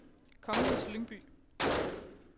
Kongens Lyngby